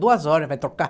Duas horas, vai trocar.